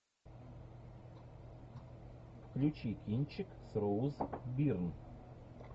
включи кинчик с роуз бирн